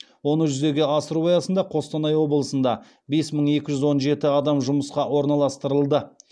оны жүзеге асыру аясында қостанай облысында бес мың екі жүз жиырма жеті адам жұмысқа орналастырылды